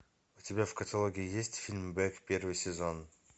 у тебя в каталоге есть фильм бек первый сезон